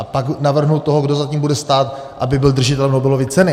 A pak navrhnu toho, kdo za tím bude stát, aby byl držitelem Nobelovy ceny.